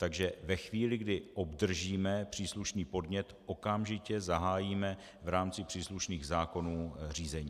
Takže ve chvíli, kdy obdržíme příslušný podnět, okamžitě zahájíme v rámci příslušných zákonů řízení.